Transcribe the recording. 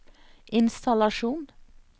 innstallasjon